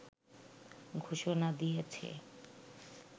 ঘোষণা দিয়েছে